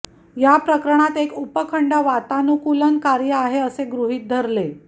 या प्रकरणात एक उपखंड वातानुकूलन कार्य आहे असे गृहीत धरले